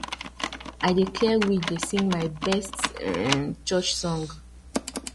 i dey clear weed dey sing my best um church song